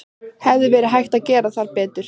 Hefði verið hægt að gera betur þar?